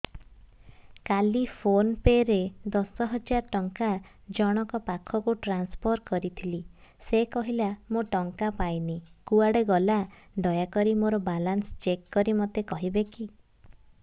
କାଲି PhonePe ରେ ଦଶ ହଜାର ଟଙ୍କା ଜଣକ ପାଖକୁ ଟ୍ରାନ୍ସଫର୍ କରିଥିଲି ସେ କହିଲା ମୁଁ ଟଙ୍କା ପାଇନି କୁଆଡେ ଗଲା ଦୟାକରି ମୋର ବାଲାନ୍ସ ଚେକ୍ କରି ମୋତେ କହିବେ କି